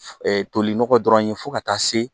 toli nɔgɔ dɔrɔn ye fo ka taa se